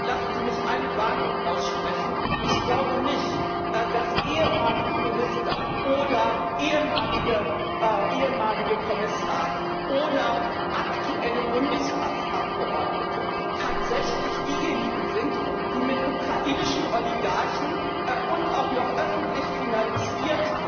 Und lassen Sie mich eine Warnung aussprechen Ich glaube nicht, dass ehemalige Minister oder ehemalige Kommissare oder aktuelle Bundestagsabgeordnete tatsächlich diejenigen sind, die mit ukrainischen Oligarchen und auch noch öffentlich finanziert